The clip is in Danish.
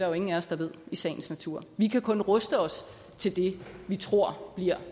jo ingen af os der ved i sagens natur vi kan kun ruste os til det vi tror bliver